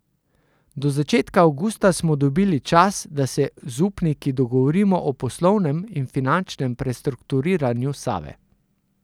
Do začetka avgusta smo dobili čas, da se z upniki dogovorimo o poslovnem in finančnem prestrukturiranju Save.